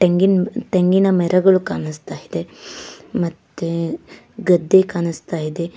ತೆಂಗಿನ್ ತೆಂಗಿನ ಮರಗಳು ಕಾಣಿಸ್ತಾ ಇದೆ ಮತ್ತೆ ಗದ್ದೆ ಕಾಣಿಸ್ತಾ ಇದೆ.